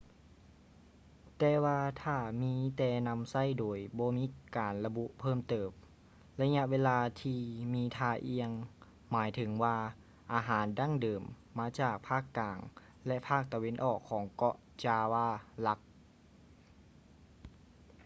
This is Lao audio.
ແຕ່ວ່າຖ້າມີແຕ່ນຳໃຊ້ໂດຍບໍ່ມີການລະບຸເພີ່ມເຕີມ ໄລຍະເວລາມີທ່າອ່ຽງໝາຍເຖິງວ່າອາຫານດັ້ງເດີມມາຈາກພາກກາງ ແລະ ພາກຕາເວັນອອກຂອງເກາະ java ຫຼັກ